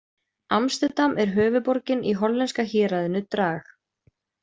Amsterdam er höfuðborgin í hollenska héraðinu Drag.